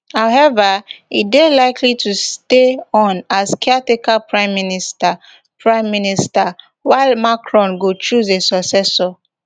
howeva e dey likely to stay on as caretaker prime minister prime minister while macron go choose a successor